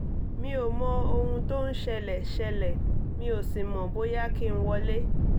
mi ò mọ ohun tó ń ṣẹlẹ̀ ṣẹlẹ̀ mi ò sì mọ̀ bóyá kí n wọlé